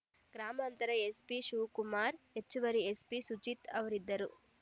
ಗ್ರಾಮಾಂತರ ಎಸ್ಪಿ ಶಿವಕುಮಾರ್ ಹೆಚ್ಚುವರಿ ಎಸ್ಪಿ ಸುಜೀತ್ ಅವರಿದ್ದರು